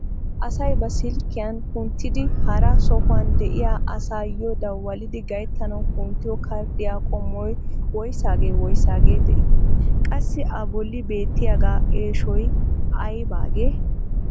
Asay ba silkkiyaan kunttidi hara sohuwaan de'iyaa asaayoo dawalidi gayttanawu kunttiyoo karddiyaa qommoy woysagee woysagee de'ii? Qassi a bolli beettiyaagaa eeshoy aybaagee?